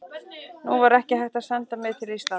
Nú var ekki hægt að senda mig til Íslands.